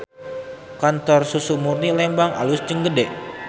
Kantor Susu Murni Lembang alus jeung gede